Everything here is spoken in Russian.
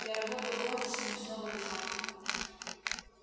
я работаю в офисе ночного дозора